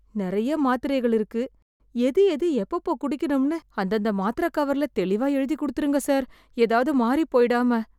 நெறைய மாத்திரைகள் இருக்கு... எது எது எப்பெப்போ குடிக்கணும்னு அந்தந்த மாத்திர கவர்ல தெளிவா எழுதி குடுத்துடுங்க சார். எதாவது மாறிப் போய்டாம.